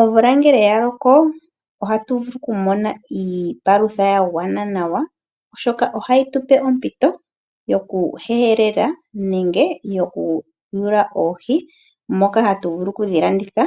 Omvula ngele ya loko ohatu vulu okumona iipalutha ya gwana nawa, oshoka ohayi tu pe ompito yokuhelela, nenge okuyula oohi ndhoka hatu vulu okudhi landitha